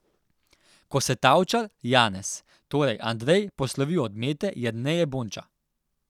Ko se Tavčar, Janez, torej Andrej, poslovi od Mete, Jerneje Bonča.